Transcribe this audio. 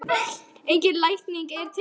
Engin lækning er til.